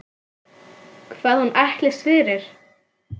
Hvað hún ætlist fyrir.